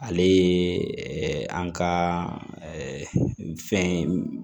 Ale ye an ka fɛn